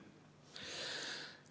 Punkt kaks.